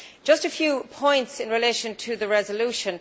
I have a few points in relation to the resolution.